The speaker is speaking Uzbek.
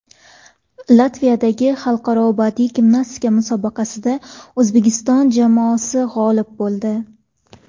Latviyadagi xalqaro badiiy gimnastika musobaqasida O‘zbekiston jamoasi g‘olib bo‘ldi.